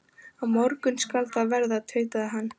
Á morgun skal það verða, tautaði hann.